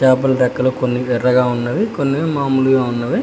లోపల రెక్కలు కొన్ని ఎర్రగా ఉన్నాయి కొన్ని మామూలుగా ఉన్నాయి.